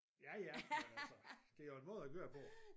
Ja ja men altså det er jo en måde at gøre det på